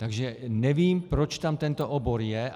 Takže nevím, proč tam tento obor je.